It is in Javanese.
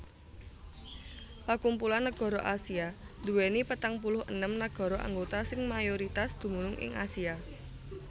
pakumpulan negara Asia nduwèni petang puluh enem nagara anggota sing mayoritas dumunung ing Asia